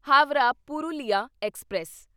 Howrah Purulia express